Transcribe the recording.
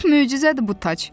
Lap möcüzədir bu tac.